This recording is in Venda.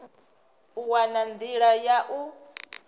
u wana nḓila ya u